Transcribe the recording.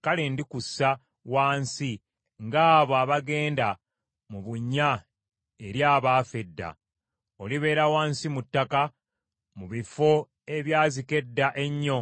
kale ndikussa wansi ng’abo abagenda mu bunnya eri abaafa edda. Olibeera wansi mu ttaka, mu bifo ebyazika edda ennyo,